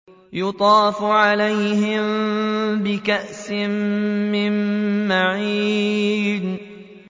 يُطَافُ عَلَيْهِم بِكَأْسٍ مِّن مَّعِينٍ